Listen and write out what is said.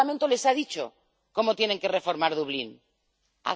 Este Parlamento les ha dicho cómo tienen que reformar el Reglamento de Dublín.